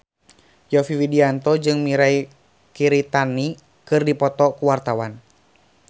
Yovie Widianto jeung Mirei Kiritani keur dipoto ku wartawan